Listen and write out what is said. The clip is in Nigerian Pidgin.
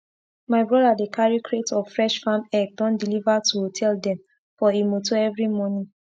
my broda dey carry crate of fresh farm egg don deliver to hotel dem for e motor everi morning